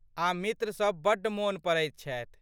आ मित्रसभ बड्ड मोन पड़ैत छथि।